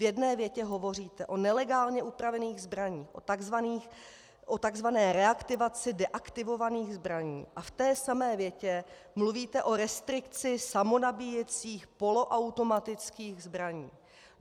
V jedné větě hovoříte o nelegálně upravených zbraních, o tzv. reaktivaci deaktivovaných zbraní, a v té samé větě mluvíte o restrikci samonabíjecích, poloautomatických zbraní.